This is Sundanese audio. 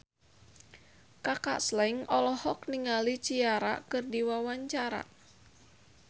Kaka Slank olohok ningali Ciara keur diwawancara